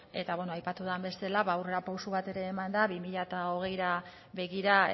eta bueno aipatu den bezala ba aurrera pausu bat ere eman da bi mila hogeira begira